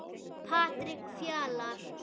Patrik Fjalar.